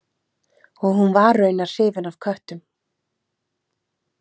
Og hún var raunar hrifin af köttum.